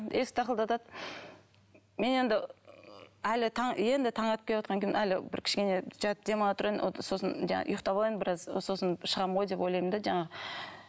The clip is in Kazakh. есікті тақылдатады мен енді әлі таң енді таң атып келеатқаннан кейін әлі бір кішкене жатып демала тұрайын сосын жаңағы ұйықтап алайын біраз сосын шығамын ғой деп ойлаймын да жаңағы